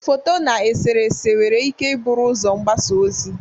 Foto na eserese nwere ike ibụ ụzọ mgbasa ozi.